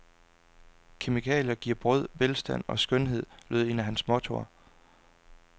Kemikalier giver brød, velstand og skønhed, lød et af hans mottoer.